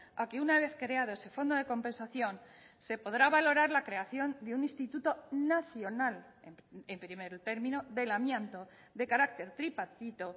a que una vez creado ese fondo de compensación se podrá valorar la creación de un instituto nacional en primer término del amianto de carácter tripartito